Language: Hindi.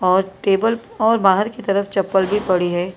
और टेबल और बाहर की तरफ चप्पल भी पड़ी है।